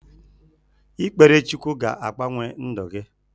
Ikpere Chukwu ga-agbanwe ndụ gi